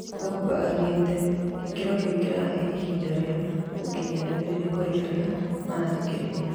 Pogba oigĩte "Gĩkĩro kĩu kĩrahe ihinda rĩa gũkinyia ndũmĩrĩri kũrĩ arĩa marathikĩrĩria"